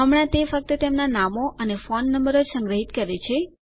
હમણાં તે ફક્ત તેમનાં નામો અને ફોન નંબરો જ સંગ્રહિત કરે છે